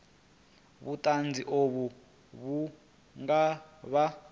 vhuṱanzi uvho vhu nga vha